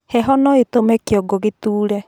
Heho noĩtũme kĩongo gĩtuure